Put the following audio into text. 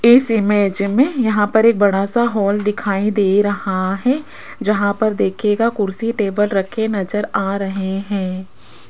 इस इमेज में यहां पर एक बड़ा सा हॉल दिखाई दे रहा है जहां पर देखिएगा कुर्सी टेबल रखे नज़र आ रहे हैं।